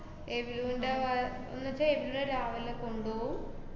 വാ~ ന്നുച്ചാ എന്നും രാവിലെ കൊണ്ടോവും.